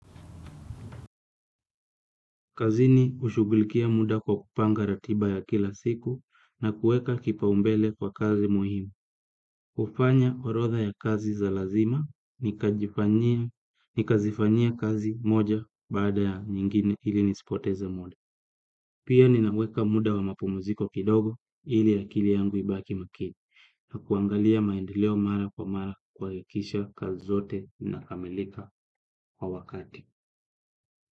Kazini hushughulikia muda kwa kupanga ratiba ya kila siku na kuweka kipaumbele kwa kazi muhimu. Kufanya orodha ya kazi za lazima, nikazifanyie kazi moja baada ya nyingine ili nispoteze muda. Pia ninaweka muda wa mapumuziko kidogo ili ya akili yangu ibaki makini na kuangalia maendeleo mara kwa mara kuhakikisha kazi zote zinakamilika kwa wakati.